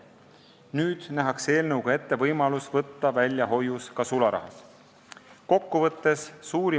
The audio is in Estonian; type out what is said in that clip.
Eelnõuga nähakse ette võimalus hoius ka sularahas välja võtta.